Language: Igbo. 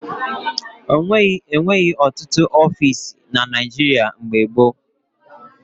E nweghị ọtụtụ ọfiisi na Naịjịrịa mgbe gboo.